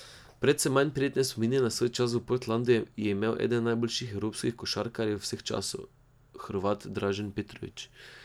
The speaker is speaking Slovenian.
Precej manj prijetne spomine na svoj čas v Portlandu je imel eden najboljših evropskih košarkarjev vseh časov, Hrvat Dražen Petrović.